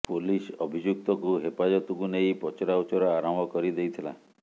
police ଅଭିଯୁକ୍ତକୁ ହେପାଜତକୁ ନେଇ ପଚରାଉଚୁରା ଆରମ୍ଭ କରି ଦେଇଥିଲା